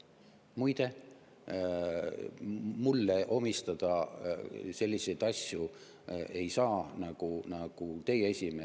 Muide, mulle omistada selliseid asju ei saa, nagu teie esimees ...